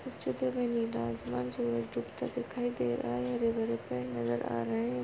इस चित्र मे नीला आसमान दिखाई दे रहा है हरे भरे पेड़ नजर आ रहे है।